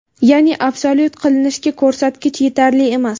Ya’ni absolyut qilinishiga ko‘rsatkich yetarli emas.